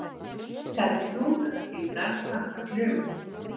Ríkari trúnaðarskylda samkvæmt lögum